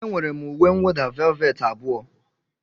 Enwere m uwe mwụda velveti abụọ.